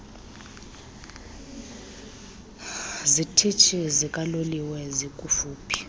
zitishi zikaloliwe zikufuphi